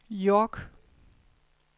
York